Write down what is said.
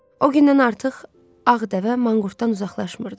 O gündən artıq ağ dəvə manqurtdan uzaqlaşmırdı.